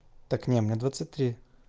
так не мне двадцать три